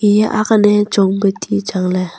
eya ang lan ley chong pe ti chang ley.